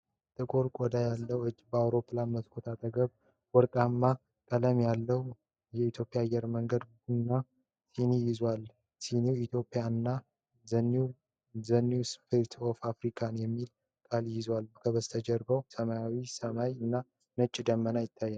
ጥቁር ቆዳ ያለው እጅ በአውሮፕላን መስኮት አጠገብ ወርቃማ ቀለም ያለው የኢትዮጵያ አየር መንገድ የቡና ስኒ ይዟል። ስኒው "Ethiopian" እና "THE NEW SPIRIT OF AFRICA" የሚሉ ቃላትን ይዟል። ከበስተጀርባ ሰማያዊ ሰማይ እና ነጭ ደመናዎች ይታያሉ።